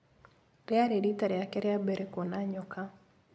Rĩarĩ riita rĩake rĩa mbere kuona nyoka.